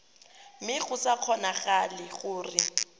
mme go sa kgonagale gore